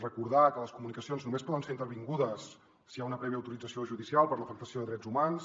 recordar que les comunicacions només poden ser intervingudes si hi ha una prèvia autorització judicial per l’afectació de drets humans